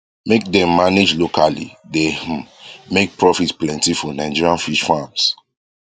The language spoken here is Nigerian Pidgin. make dem manage locally dey um make profit plenty for nigerian fish farms